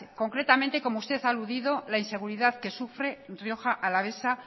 concretamente como usted ha aludido la inseguridad que sufre rioja alavesa